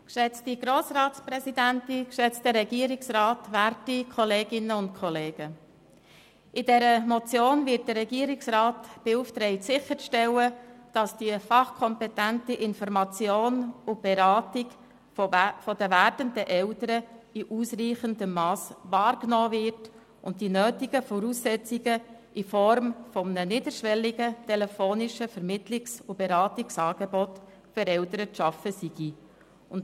In dieser Motion wird der Regierungsrat beauftragt, sicherzustellen, dass die fachkompetente Information und Beratung der werdenden Eltern in ausreichendem Mass wahrgenommen wird, und dass die nötigen Voraussetzungen in Form eines niederschwelligen telefonischen Vermittlungs- und Beratungsangebotes für Eltern geschaffen werden.